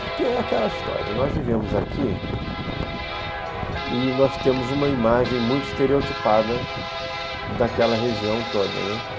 Porque é aquela história, nós vivemos aqui e nós temos uma imagem muito estereotipada daquela região toda, né?